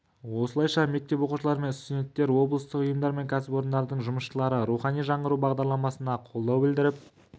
осылайша мектеп оқушылары мен студенттер облыстық ұйымдар мен кәсіпорындардың жұмысшылары рухани жаңғыру бағдарламасына қолдау білдіріп